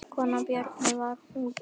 Kona Bjarnar var úti en